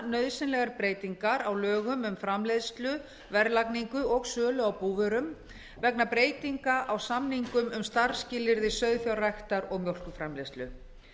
nauðsynlegar breytingar á lögum um framleiðslu verðlagningu og sölu á búvörum vegna breytinga á samningum um starfsskilyrði sauðfjárræktar og mjólkurframleiðslu